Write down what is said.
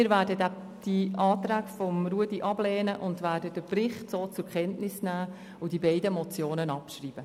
Wir werden die Anträge ablehnen, den Bericht zur Kenntnis nehmen und die beiden Motionen abschreiben.